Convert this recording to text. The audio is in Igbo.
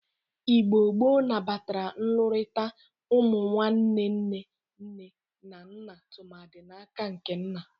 Igbo gboo nabatara nlụrịkọta ụmụ ụmụnwanne nne na nna tụmadị n'aka nke nna.